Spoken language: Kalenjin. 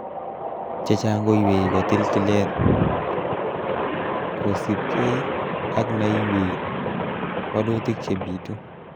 Chechang ko ywei kotil tilet, kosiibge ak neiywei waluutik chebitu.